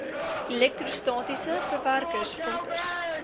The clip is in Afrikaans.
elektrostatiese bewerkers filters